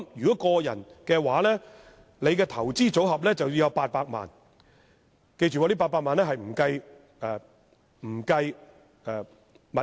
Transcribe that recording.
就個人而言，其投資組合須擁有最少800萬元，而這800萬元並不包括任何物業。